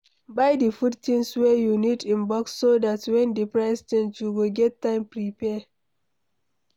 Buy di food things wey you need in bulk so dat when di price change you go get time prepare